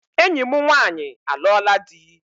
Enyi m nwanyị alụọla dị